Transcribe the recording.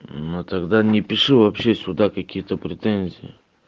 ну тогда не пиши вообще сюда какие-то претензии